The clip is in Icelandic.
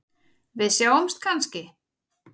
Við sjáumst kannski?